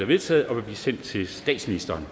vedtaget og vil blive sendt til statsministeren